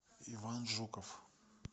иван жуков